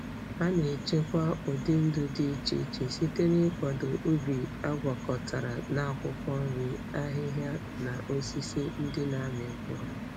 Ha na-echekwa ụdị ndụ dị iche iche site n'ịkwado ubi agwakọtara na akwụkwọ nri, ahịhịa, na osisi ndị na-amị mkpụrụ.